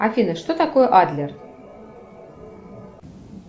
афина что такое адлер